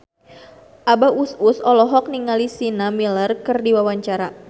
Abah Us Us olohok ningali Sienna Miller keur diwawancara